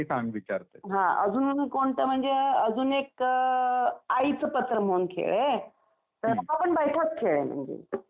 हां अजून कोणते म्हणजे अजून एक आईचं पत्र म्हणून खेळ आहे. तर हा पण बैठाच खेळ आहे म्हणजे बसूनच खेळतात.